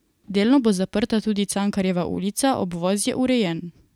Delno bo zaprta tudi Cankarjeva ulica, obvoz je urejen.